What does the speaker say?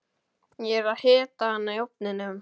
Ég er að hita hana í ofninum.